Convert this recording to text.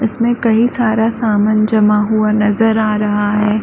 इसमें कई सारा सामान जमा हुआ नज़र आ रहा है।